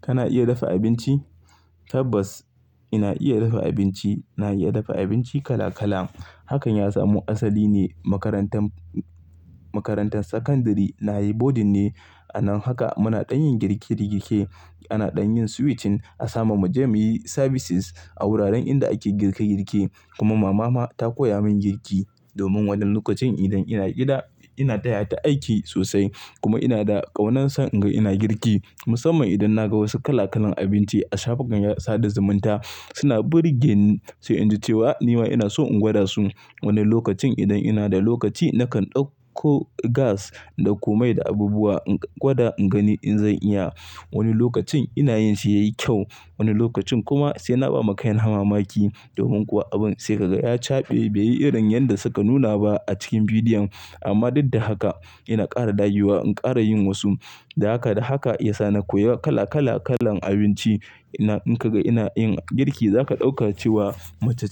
Kana iya dafa abinci? Tabbas ina iya dafa abinci. Ina iya dafa abinci kala kala. Hakan ya samu asali ne a makarantar, makarantar sakandare. Na yi boarding ne. Anan haka muna ɗanyin girke girke. Ana ɗanyin switching a samamu jam'iyyi services a wuraren inda ake girke girke. Kuma mama ta koya min girki. Domin wannan lokacin idan ina gida ina taya ta aiki sosai kuma ina da ƙaunar son in ga ina girki. Musamman idan na ga wasu kala kalan abinci a shafukan sada zumunta suna burge ni sai in ji cewa nima ina so in gwada su. Wani lokacin idan ina da lokaci nakan ɗauko gas, ɗauko mai da abubuwa in gwada in gani in zan iya. Wani lokacin ina yinsa yayi kyau, wani lokacin kuma sai na ba ma kaina mamaki domin kuwa abin sai ka ga ya caɓe bai yi irin yanda suka nuna ba a cikin bidiyon. Amma duddahaka ina ƙara dagewa, in ƙara yin wasu. Da haka da haka ya sa na koya kala kala kalan abinci. In ka ga ina yin girki za ka ɗauka cewa mace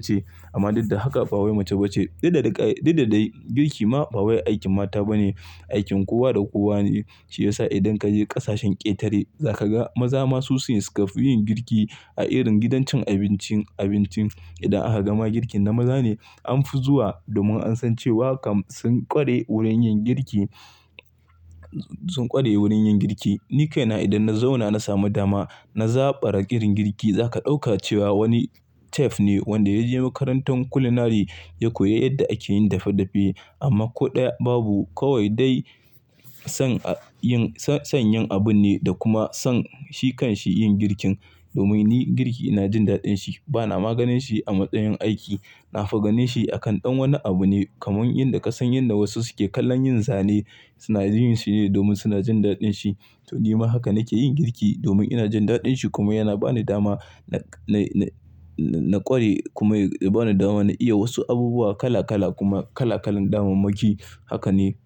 ce. Amma daddahaka ba mace ba ce. Duddadai girki ma ba wai aikin mata ba ne, aikin kowa da kowa ne. Shi ya sa idan ka je ƙasashen ƙetare za ka ga maza masu suyi sukafi yin girki a irin gidan cin abincin abincin. Idan aka gama girkin na maza ne an fi zuwa domin an san cewa kam sun ƙware wurin yin girki, sun ƙware wurin yin girki. Ni kaina idan na zauna na samu dama na zaɓara irin girki za ka ɗauka cewa wani chef ne wanda ya je makarantan culinary ya koya yadda ake yin dafe dafe. Amma ko ɗaya babu kawai dai son yin, son yin abun ne da kuma son shi kan shi yin girkin. Domin ni girki ina jin daɗin shi. Bana maganin shi a matsayin aiki. Na figanin shi a kan ɗan wani abu ne kamar yadda ka san yanda wasu suke kallon yin zane suna jin yin shi ne domin suna jin daɗin shi. To nima haka nake yin girki domin ina jin daɗin shi kuma yana ba ni dama na, na, na ƙware kuma yana ba ni dama na iya wasu abubuwa kala kala kuma kala kalan damammaki. Haka ne.